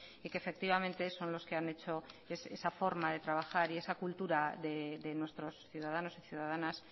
y que efectivamente son los que han hecho esa forma de trabajar y esa cultura de nuestros ciudadanos y ciudadanas